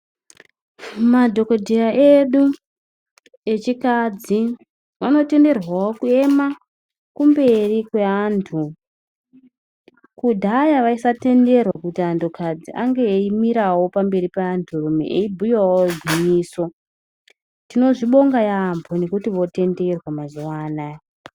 Madhokodheya edu echikadzi vano tenderwawo kuema kumberi kwe antu kudhaya vaisa tenderwa kuti antu kadzi ange eyimirawo pamberi pe antu rume eyi bhuyawo gwinyiso tinozvi bonga yambo ngekuti vo tenderwa mazuva anaya.